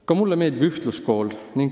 Ka mulle meeldib ühtluskool.